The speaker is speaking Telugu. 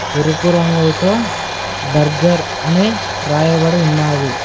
ఎరుపు రంగులతో బర్గర్ అని రాయబడి ఉన్నాది